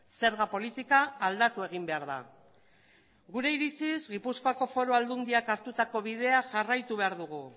zerga politika aldatu egin behar da gure iritziz gipuzkoako foru aldundiak hartutako bidea jarraitu behar dugu